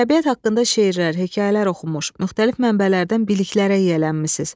Təbiət haqqında şeirlər, hekayələr oxumuş, müxtəlif mənbələrdən biliklərə yiyələnmisiz.